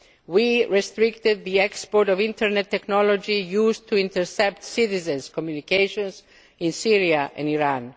We restricted the export of internet technology used to intercept citizens' communications in Syria and